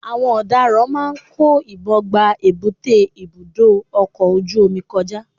àwọn ọ̀daràn máà ń kó ìbọn gba èbúté ibudọ ọkọ ojú-omi kọjá.